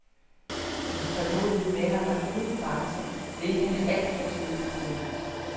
Hendes tålmodighed med ham er uden grænser, hvilket han alt for tydeligt fornemmer.